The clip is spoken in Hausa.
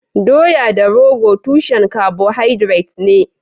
Doya da rogo tushen carbohydrates ne.